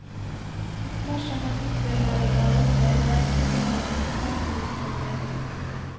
Dersom man utbedrer på gale steder, risikerer man svært liten forbedring.